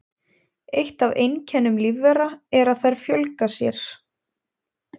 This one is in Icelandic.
Eitt af einkennum lífvera er að þær fjölga sér.